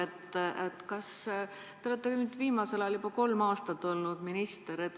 Te olete nüüd viimasel ajal juba kolm aastat minister olnud.